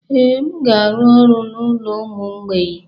Ee, m ga-arụ ọrụ n'ụlọ ụmụ mgbei.